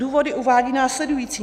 Důvody uvádí následující.